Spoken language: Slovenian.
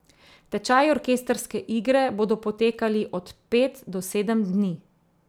Tečaji orkestrske igre bodo potekali od pet do sedem dni.